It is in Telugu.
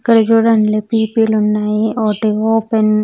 ఇక్కడ చుడండి పి_పి లున్నాయ్ ఒకటి ఓపెన్ .